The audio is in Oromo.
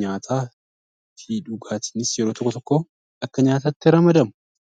Nyaataa fi dhugaatiinis yeroo tokko tokko akka nyaataatti ramadamu.